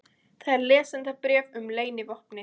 Þar er lesendabréf um leynivopnið.